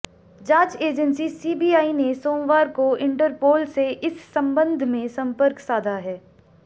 जांच agency CBI ने सोमवार को इंटरपोल से इस संबंध में संपर्क साधा है